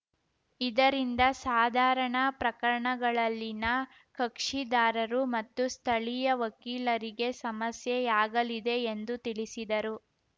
ಇದರಿಂದ ಸಾಧಾರಣ ಪ್ರಕರಣಗಳಲ್ಲಿನ ಕಕ್ಷಿದಾರರು ಮತ್ತು ಸ್ಥಳೀಯ ವಕೀಲರಿಗೆ ಸಮಸ್ಯೆಯಾಗಲಿದೆ ಎಂದು ತಿಳಿಸಿದರು